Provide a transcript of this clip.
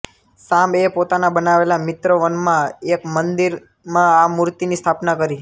સામ્બ એ પોતાના બનાવેલા મિત્રવનમાં એક મંદિરમાં આ મૂર્તિની સ્થાપના કરી